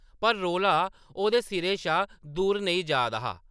पर रौला ओह्‌‌‌दे सिरै शा दूर नेईं जा दा हा ।